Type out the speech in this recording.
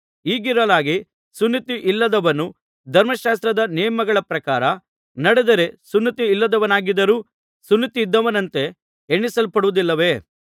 ಹೀಗಿರಲಾಗಿ ಸುನ್ನತಿಯಿಲ್ಲದವನು ಧರ್ಮಶಾಸ್ತ್ರದ ನೇಮಗಳ ಪ್ರಕಾರ ನಡೆದರೆ ಸುನ್ನತಿಯಿಲ್ಲದವನಾಗಿದ್ದರೂ ಸುನ್ನತಿಯಿದ್ದವನಂತೆ ಎಣಿಸಲ್ಪಡುವುದಿಲ್ಲವೇ